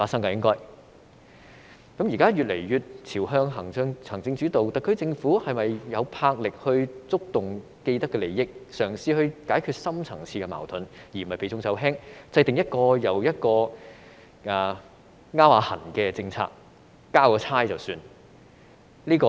香港現在越來越朝向行政主導，特區政府是否有魄力觸動既得利益，嘗試解決深層次矛盾，而不是避重就輕，制訂一項又一項搔癢般的政策，交差了事？